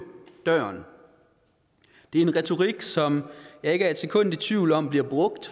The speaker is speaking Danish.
døren det er en retorik som jeg ikke er et sekund i tvivl om bliver brugt